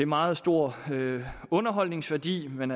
meget stor underholdningsværdi men